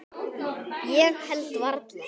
Ég held varla.